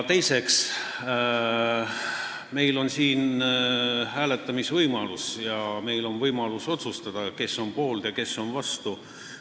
Teiseks, meil tuleb siin hääletamine ja on võimalik otsustada, kes on poolt ja kes on vastu.